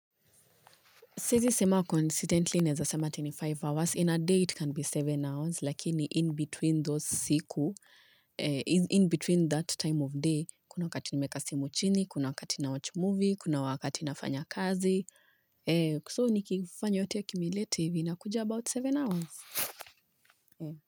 Siezi sema coincidentally, naeza sema ati ni five hours. In a day, it can be seven hours, lakini in between those siku, in between that time of day, kuna wakati nimeeka simu chini, kuna wakati na watch movie, kuna wakati nafanya kazi. So, nikifanya yote acumulative, vina kuja about seven hours.